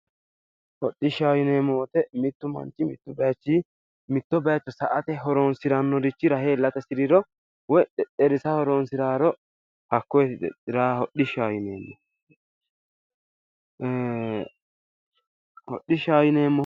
Hodhishshaho yineemmo woyiite mittu manchi mittu bayiichi mitto bayiicho sa"ate horonsirannorichi rahe iillate hasiriro woyi xexxerisa horonsiraaro hodhishshaho yineemmo ii hodhishshaho yineemmo